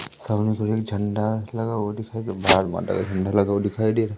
सामने की ओर झंडा लगा हुआ दिखाई भारत माता का झंडा लगा हुआ दिखाई दे --